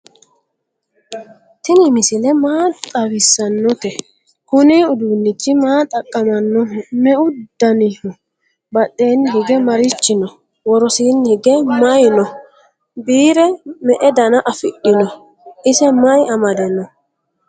tinni misile maa xawisanote? kuuni udunnichi maa xaqaamanoho? meu danniho? badhenni hige marichi noo? worosinni hige maayi noo? biire me"edana afidhino? iise mayi amade noo?